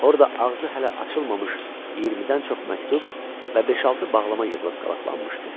Orda ağzı hələ açılmamış 20-dən çox məktub və beş-altı bağlama yığılıb qalaqlanmışdı.